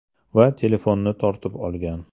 Va telefonni tortib olgan.